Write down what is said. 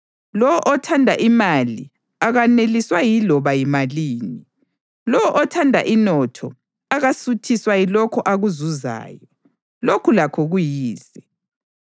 Lowo othanda imali akaneliswa yiloba yimalini; lowo othanda inotho akasuthiswa yilokho akuzuzayo. Lokhu lakho kuyize.